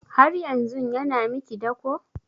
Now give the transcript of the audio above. Har yanzun yana miki dako?